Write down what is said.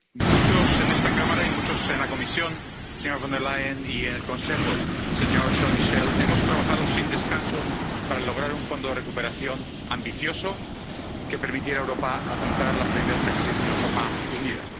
Muchos en esta Cámara y muchos en la Comisión, señora Von der Leyen, y en el Consejo, señor Michel, hemos trabajado sin descanso para lograr un fondo de recuperación ambicioso que permitiera a Europa afrontar la salida de esta crisis de una forma unida.